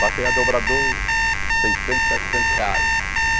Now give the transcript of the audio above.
Passei a dobrador seiscentos, setecentos reais.